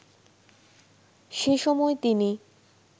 সেসময় তিনি